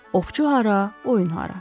Ovçu hara, oyun hara.